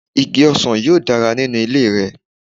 Igi ọsàn yóò dára nínú ilé rẹ.